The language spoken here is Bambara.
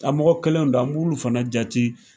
A mɔgɔ kɛlenw don ,an b'ulu fana jati.